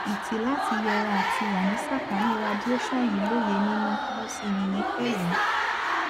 ìtì láti yẹra àti wà ní ìsàkánì radiation yìi lóye nínú mo sì yìn yín pẹlú